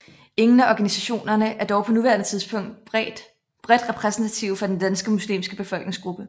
Ingen af organisationerne er dog på nuværende tidspunkt bredt repræsentative for den danske muslimske befolkningsgruppe